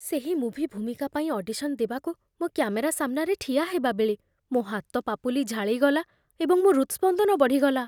ସେହି ମୁଭି ଭୂମିକା ପାଇଁ ଅଡିସନ୍ ଦେବାକୁ ମୁଁ କ୍ୟାମେରା ସାମ୍ନାରେ ଠିଆ ହେବାବେଳେ, ମୋ ହାତପାପୁଲି ଝାଳେଇଗଲା ଏବଂ ମୋ ହୃଦ୍‌ସ୍ପନ୍ଦନ ବଢ଼ିଗଲା।